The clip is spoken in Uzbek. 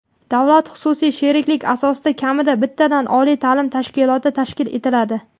davlat-xususiy sheriklik asosida kamida bittadan oliy ta’lim tashkiloti tashkil etiladi.